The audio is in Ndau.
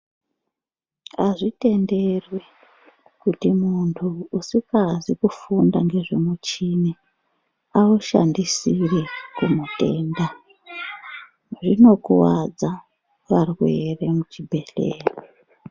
Azvitenderwi kuti muntu usingazi kufunda ngezve mushini aushandisire kumutenda, zvinokuwadza varwere muchibhedhleya.